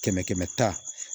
Kɛmɛ kɛmɛ ta